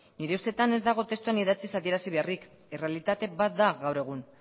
nire ustetan ez dago testuan idatziz adierazi beharrik errealitate bat da gaur egun